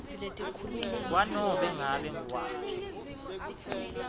kwanobe ngabe nguwaphi